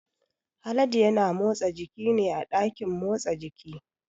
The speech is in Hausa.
Haladu ya na motsa jiki ne a ɗakin motsa jiki